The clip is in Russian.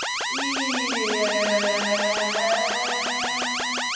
ии эээ